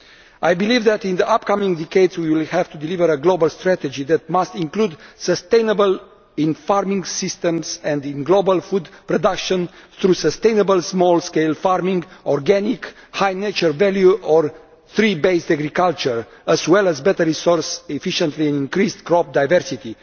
I believe that in the upcoming decades we will have to deliver a global strategy that must include sustainability in farming systems and in global food production through sustainable small scale farming, organic, high nature value or tree based agriculture, as well as better resource efficiency and increased crop diversity.